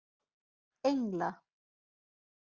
Engla